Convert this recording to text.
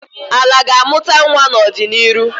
Ala ga-amụta nwa n'ọdịniru.